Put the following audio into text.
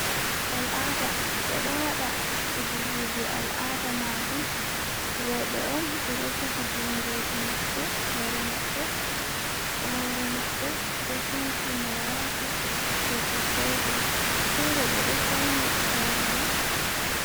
Al'ada ɓeɗo waɗo fijirili al'ada majum roobe, on ɓeɗo jogi jungoji maɓɓe hore maɓbe hore mabbe ɗo sanci moraka ɓe suddai ɗum fere ɓe ɗo fauni hore man.